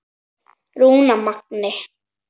Rúnar Magni.